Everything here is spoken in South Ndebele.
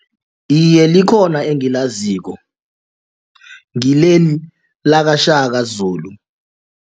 Iye, likhona engilaziko ngileli lakaShaka Zulu.